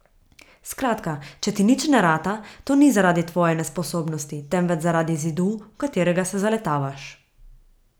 Skratka, če ti nič ne rata, to ni zaradi tvoje nesposobnosti, temveč zaradi zidu, v katerega se zaletavaš.